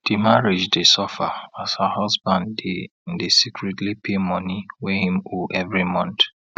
di marriage dey suffer as her husband dey dey secretly pay money wey him owe every month